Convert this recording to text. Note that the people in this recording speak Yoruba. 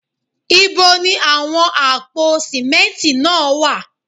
Ibo ni àwọn àpò símẹ́ntì náà wà?